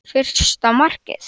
Fyrsta markið?